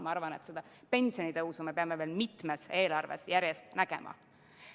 Ma arvan, et pensionitõusu me peame veel mitmes eelarves järjest nägema.